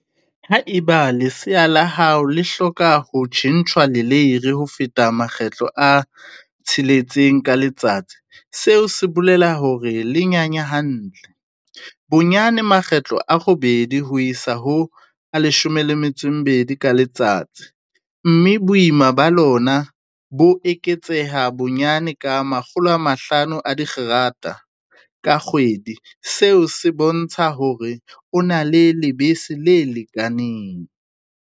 Haeba lesea la hao le hloka ho tjhentjhwa leleiri ho feta makgetlo a tsheletseng ka letsatsi, seo se bolela hore le nyanya hantle, bonyane makgetlo a robedi ho isa ho a 12 ka letsatsi, mme boima ba lona bo eketseha bonyane ka 500g ka kgwedi, seo se bontsha hore o na le lebese le lekaneng.